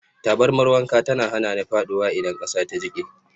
Tabarmar wanka tana hana ni faɗuwa idan ƙasa ta jike.